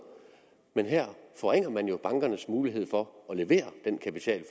men her forringer man jo bankernes mulighed for at levere den kapital